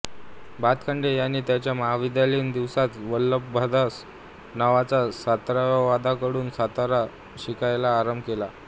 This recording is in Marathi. भातखंडे यांनी त्यांच्या महाविद्यालयीन दिवसांत वल्लभदास नावाच्या सतारवादकाकडून सतार शिकायला आरंभ केला